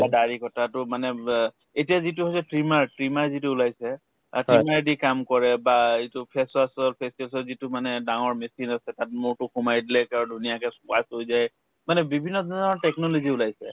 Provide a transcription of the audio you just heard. বা দাড়ি কটাটো মানে ব এতিয়া যিটো হৈছে trimmer trimmer যিটো ওলাইছে অ trimmer ৰেদি কাম কৰে বা এইটো facing ৰ facing ৰ যিটো মানে ডাঙৰ machine আছে তাত মূৰতো সোমাই দিলে ধুনীয়াকে হৈ যায় মানে বিভিন্ন ধৰণৰ technology ওলাইছে